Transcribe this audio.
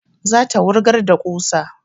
Za ta wurgar da ƙusa